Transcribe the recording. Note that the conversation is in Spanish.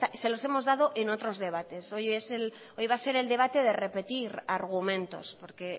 se los hemos dado en otros debates hoy va a ser el debate de repetir argumentos porque